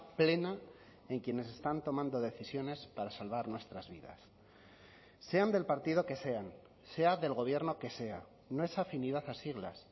plena en quienes están tomando decisiones para salvar nuestras vidas sean del partido que sean sea del gobierno que sea no es afinidad a siglas